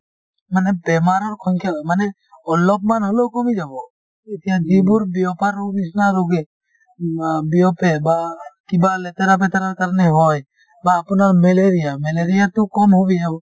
মানে বেমাৰৰ সংখ্যা মানে অলপ মান হলেও কমি যাব এতিয়া যিবোৰ বিয়পা ৰোগ নিচিনা ৰোগে উম আ বিয়পে বা কিবা লেতেৰা-পেতেৰাৰ কাৰণে হয় বা আপোনাৰ malaria malaria তো কম বেয়াও